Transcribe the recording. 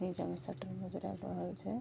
नीचा में शटर नजर आव रहल छै।